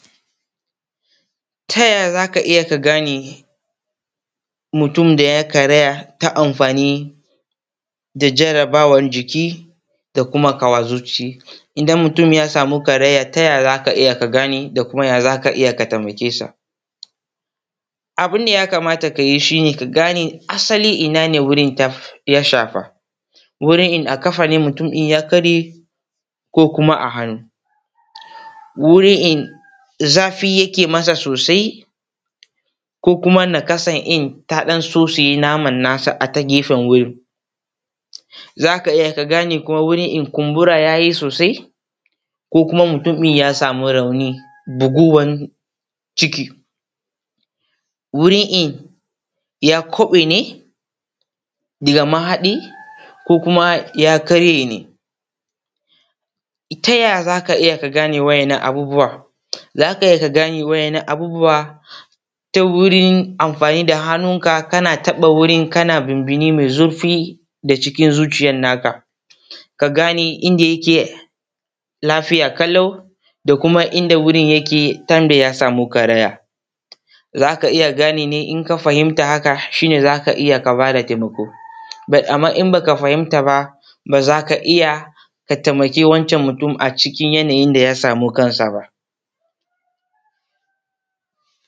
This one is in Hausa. Ta yaya za ka iya ka gane mutum da ya karaya ta amfani da jarabawan jiki da kuma ƙawa zuci? Idan mutum ya samu karaya taya za ka iya ka gane da kuma taya za ka iya ka taimake sa? Abun da ya kamata ka yi ka gane shi ne asali ina ne wurin da ya shafa, wurin in a ƙafa ne wurin ya karye ko kuma a hannu, gurin inda zafi yafi masa sosai ko kuma nakasan in tadan sosai namannasa a ta gefen wurin za ka iya ka gane, kumbura ya yi sosai ina mutum ya samu rauni da gowan ciki wuri ya kubu ne da mahani ko kuma ya karye ne. Ta ya za ka iya ka gane waɗannan abubuwan? Za ka iya kani waɗannan abubuwa ta wurin anfani da haninka, kana taɓa wurin kana binbini mi zurfi daci kin zuciyanka, ka gani inda yake lafiya ƙalau da kuma inda wurin yake tun da ya sa ma karaya, za ka iya ganiwa in ka fahimta haka shi ne za ka iya ka ba da taimako, amma in ba ka fahimta ba ba za ka iya ka taimkaa wancan mutumi a cikin yanayin da ya sama kansa ba.